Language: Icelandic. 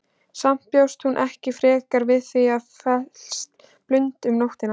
Samt bjóst hún ekkert frekar við því að festa blund um nóttina.